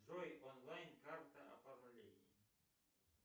джой онлайн карта оформление